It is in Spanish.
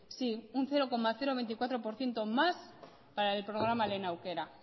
sí un cero coma veinticuatro por ciento más para el programa lehen aukera